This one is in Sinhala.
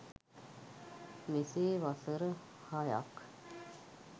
මෙසේ වසර හයක්